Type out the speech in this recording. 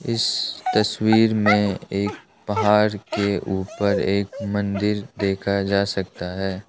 इस तस्वीर में एक पहाड़ के ऊपर एक मंदिर देखा जा सकता है।